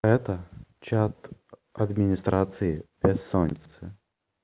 это чат администрации бессонницы